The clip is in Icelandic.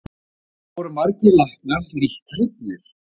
Og þó voru margir læknar lítt hrifnir.